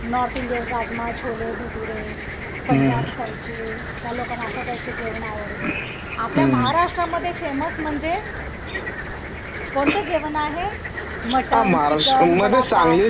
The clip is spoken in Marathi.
नॉर्थ इंडियन राजमा, छोले, भटुरे पंजाब साईडचे त्या लोकांना अश्याटाइपच जेवण आवडत आपल्या महाराष्ट्रमध्ये फेमस म्हणजे कोणत जेवण आहे मटन चिकन